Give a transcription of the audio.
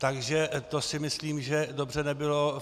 Takže to si myslím, že dobře nebylo.